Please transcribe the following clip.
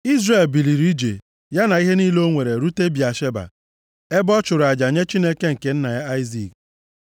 Izrel biliri ije, ya na ihe niile o nwere rute Bịasheba. Ebe a, ọ chụrụ aja nye Chineke nke nna ya Aịzik.